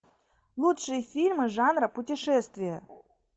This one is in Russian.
лучшие фильмы жанра путешествия